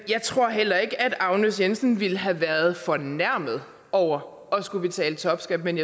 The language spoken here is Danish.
jeg tror heller ikke at agnes jensen ville have været fornærmet over at skulle betale topskat men